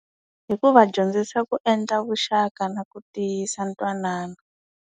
Hi ku va dyondzisa ku endla vuxaka na ku tiyisa ntwanano.